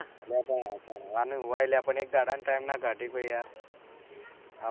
અલ ભાઈ mobile એક દહાડો નો time કાડીશું યાર